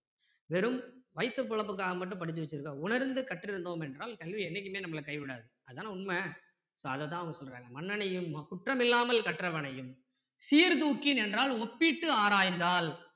வெறும் வயிற்று பிழைப்புகாக மட்டும் படிச்சி வச்சிருக்கோம் உணர்ந்து கற்றிருந்தோம் என்றால் கல்வி என்னைக்குமே நம்மள கைவிடாது அதான உண்மை so அதை தான் அவங்க சொல்றாங்க மன்னனையும் குற்றமில்லாமல் கற்றவனையும் சீர்தூக்கி நின்றால் ஒப்பிட்டு ஆராய்ந்தால்